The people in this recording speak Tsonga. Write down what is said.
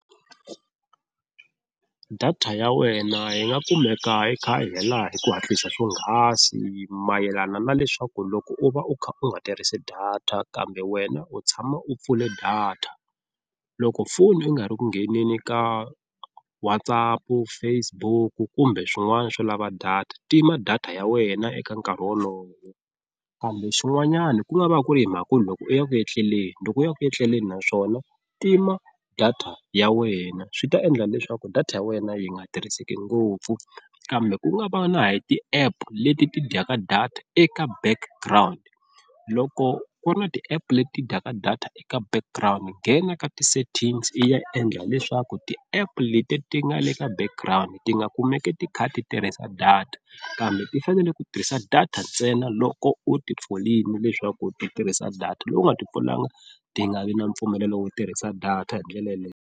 Data ya wena yi nga kumeka yi kha yi hela hi ku hatlisa swonghasi mayelana na leswaku loko u va u kha u nga tirhisi data kambe wena u tshama u pfule data loko phone u nga ri ku nghenini ka WhatsApp, Facebook kumbe swin'wana swo lava data tima data ya wena eka nkarhi wolowo. Kambe swin'wanyani ku nga va ku ri hi mhaka loko u ya ku etleleni loko u ya ku etleleni naswona tima data ya wena swi ta endla leswaku data ya wena yi nga tirhiseki ngopfu. Kambe ku nga va na hi ti-app leti ti dyaka data eka background loko ku ri na ti-app leti dyaka data eka background nghena ka ti-settings i ya endla leswaku ti-app leti ti nga le ka background ti nga kumeki ti kha ti tirhisa data, kambe ti fanele ku tirhisa data ntsena loko u ti pfulini leswaku ti tirhisa data loko u nga ti pfulanga ti nga vi na mpfumelelo wo tirhisa data hi ndlela yaleyo.